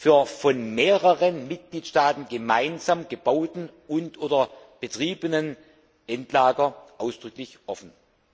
für von mehreren Mitgliedstaaten gemeinsam gebaute und oder betriebene Endlager ausdrücklich offen.